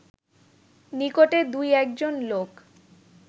নিকটে দুই-একজন লোক